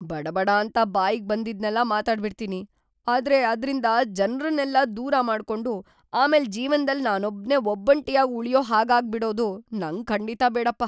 ಬಡಬಡಾಂತ ಬಾಯಿಗ್‌ ಬಂದಿದ್ದೆಲ್ಲ ಮಾತಾಡ್ಬಿಡ್ತೀನಿ, ಆದ್ರೆ ಅದ್ರಿಂದ ಜನ್ರನ್ನೆಲ್ಲ ದೂರ ಮಾಡ್ಕೊಂಡು ಆಮೇಲೆ ಜೀವ್ನದಲ್ಲಿ ನಾನೊಬ್ನೇ ಒಬ್ಬಂಟಿಯಾಗ್ ಉಳ್ಯೋ ಹಾಗಾಗ್ಬಿಡೋದು ನಂಗ್‌ ಖಂಡಿತಾ ಬೇಡಪ್ಪ.